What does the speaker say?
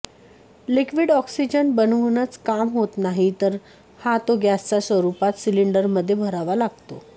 liquid oxygen बनवूनच काम होत नाही तर हा तो गॅसच्या स्वरूपात सिलिंडरमध्ये भरावा लागतो